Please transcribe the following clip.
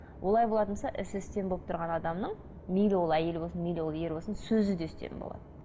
олай болатын болса болып тұрған адамның мейлі ол әйел болсын мейлі ол ер болсын сөзі де үстем болады